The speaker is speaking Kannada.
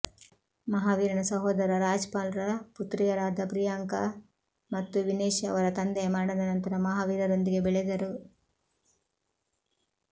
ಮಹಾವೀರನ ಸಹೋದರ ರಾಜ್ಪಾಲ್ ರ ಪುತ್ರಿಯರಾದ ಪ್ರಿಯಾಂಕಾ ಮತ್ತು ವಿನೆಶ್ ಅವರ ತಂದೆಯ ಮರಣದ ನಂತರ ಮಹಾವೀರರೊಂದಿಗೆ ಬೆಳೆದರು